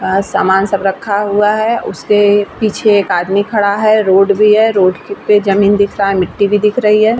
अ-अ सामान सब रखा हुआ है | उसके पीछे एक आदमी खड़ा है | रोड भी है रोड के पे जमीन दिख रहा है मिट्टी भी दिख रही है